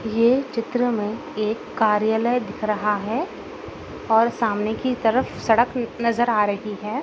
ये चित्र में एक कार्यालय दिख रहा है और सामने की तरफ सड़क न् नजर आ रही है।